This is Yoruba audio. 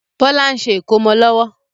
Bọlá ń ṣe ìkómọ lọ́wọ́